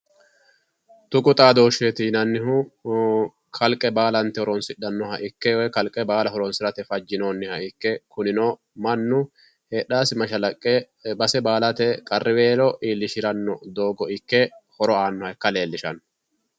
tuqu xaadooshsheeti yinannihu kalqe baala horonsidhannoha ikke woyi kalqe baala horonsirate fajjinoonniha ikke kunino mannu heedhaasi mashalaqqe base baalate qarriweelo iillishiranno doogo ikke horo aa leellishanno